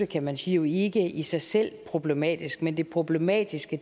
kan man sige ikke i sig selv problematisk men det problematiske